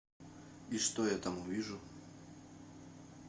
и что я там увижу